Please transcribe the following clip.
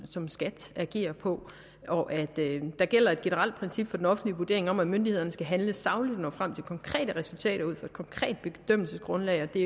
som skat agerer på og at der gælder et generelt princip for den offentlige vurdering om at myndighederne skal handle sagligt og nå frem til konkrete resultater ud fra et konkret bedømmelsesgrundlag og at det